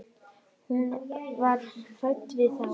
Hún var hrædd við þá.